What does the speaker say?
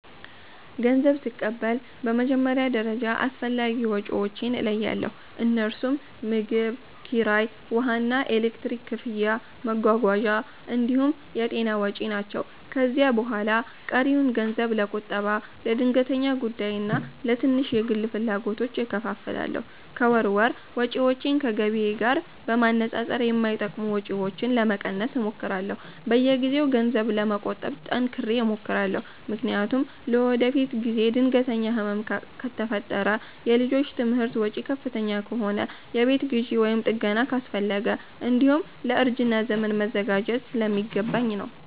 ገንዘብ ስቀበል በመጀመሪያ ደረጃ አስፈላጊ ወጪዎቼን እለያለሁ፤ እነርሱም ምግብ፣ ኪራይ፣ ውሃና ኤሌክትሪክ ክፍያ፣ መጓጓዣ እንዲሁም የጤና ወጪ ናቸው። ከዚያ በኋላ ቀሪውን ገንዘብ ለቁጠባ፣ ለድንገተኛ ጉዳይና ለትንሽ የግል ፍላጎቶች እከፋፍላለሁ። ከወር ወር ወጪዎቼን ከገቢዬ ጋር በማነጻጸር የማይጠቅሙ ወጪዎችን ለመቀነስ እሞክራለሁ። በየጊዜው ገንዘብ ለመቆጠብ ጠንክሬ እሞክራለሁ፤ ምክንያቱም ለወደፊት ጊዜ ድንገተኛ ህመም ከፈጠረ፣ የልጆች ትምህርት ወጪ ከፍተኛ ከሆነ፣ የቤት ግዢ ወይም ጥገና አስፈለገ፣ እንዲሁም ለእርጅና ዘመን መዘጋጀት ስለሚገባኝ ነው።